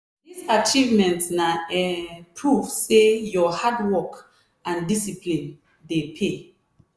this achievement na um proof say your hard work and discipline dey pay.